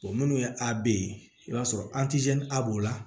minnu ye abe ye i b'a sɔrɔ a b'o la